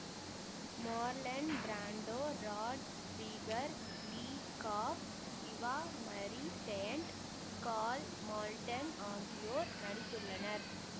Marlon Brando Rod Steiger Lee Cobb Eva Marie Saint Karl Malden ஆகியோர் நடித்துள்ளனர்